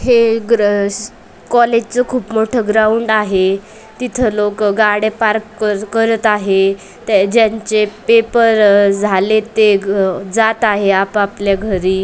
हे ग्रस कॉलेज चं खूप मोठा ग्राऊंड आहे तिथं लोकं गाड्या पार्क करत आहे ते ज्यांचे पेपर झालेत ते जात आहे आपआपल्या घरी.